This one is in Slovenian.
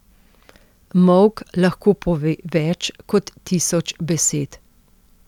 Molk lahko pove več kot tisoč besed.